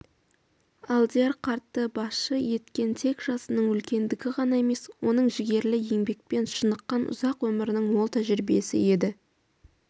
алдияр қартты басшы еткен тек жасының үлкендігі ғана емес оның жігерлі еңбекпен шыныққан ұзақ өмірінің мол тәжірибесі еді